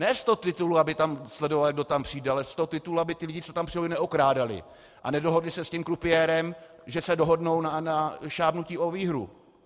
Ne z toho titulu, aby tam sledovaly, kdo tam přijde, ale z toho titulu, aby ti lidé, co tam přijdou, je neokrádali a nedohodli se s tím krupiérem, že se dohodnou na šábnutí o výhru.